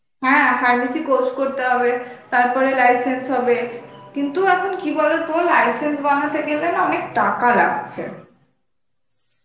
হ্যাঁ pharmacy course করতে হবে তারপরে license হবে কিন্তু এখন কি বলত license বানাতে গেলে না অনেক টাকা লাগছে